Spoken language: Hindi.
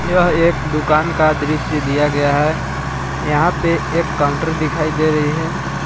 यह एक दुकान का दृश्य दिया गया है यहां पे एक काउंटर दिखाई दे रही है।